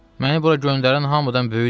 Məni bura göndərən hamıdan böyükdür.